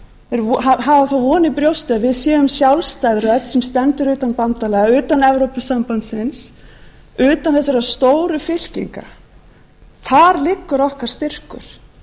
jú þeir hafa þá von í brjósti að við séum sjálfstæð rödd sem stendur utan bandalaga utan evrópusambandsins utan þessara stóru fylkinga þar liggur okkar styrkur